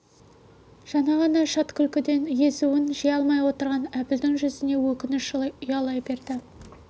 жаңа ғана шат күлкіден езуін жия алмай отырған әбілдің жүзіне өкініш ұялай берді